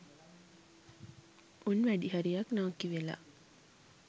උන් වැඩිහරියක් නාකි වෙලා